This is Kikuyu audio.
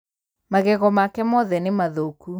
Magego make mothe nĩmathũku.